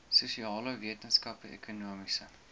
sosiale wetenskappe ekonomiese